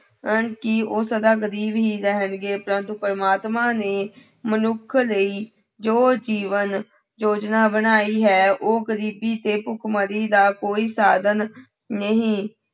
ਹਨ ਕਿ ਉਹ ਸਦਾ ਗ਼ਰੀਬ ਹੀ ਰਹਿਣਗੇ ਪ੍ਰੰਤੂ ਪ੍ਰਮਾਤਮਾ ਨੇ ਮਨੁੱਖ ਲਈ ਜੋ ਜੀਵਨ ਯੋਜਨਾ ਬਣਾਈ ਹੈ, ਉਹ ਗ਼ਰੀਬੀ ਤੇ ਭੁੱਖਮਰੀ ਦਾ ਕੋਈ ਸਾਧਨ ਨਹੀਂ।